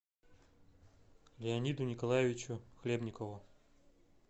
леониду николаевичу хлебникову